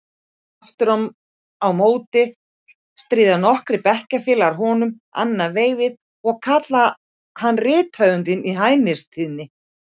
Aftur á móti stríða nokkrir bekkjarfélagar honum annað veifið og kalla hann rithöfundinn í hæðnistóni.